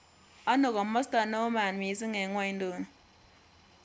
Ano komosto neo maat misiing' eng' ng'wonynduni